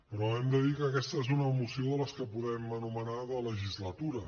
però hem de dir que aquesta és una moció de les que podem anomenar de legislatura